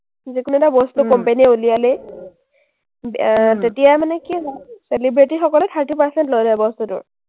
যিকোনো এটা বস্তু company এ উলিয়ালেই আহ তেতিয়াই মানে কি হয়, celebrity সকলে thirty percent লৈ লয় বস্তুটোৰ।